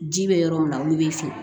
Ji bɛ yɔrɔ min na olu bɛ feere